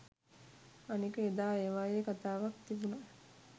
අනික එදා ඒවායේ කතාවක් තිබුණා